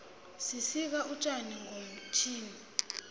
sisika utjani ngomtjhini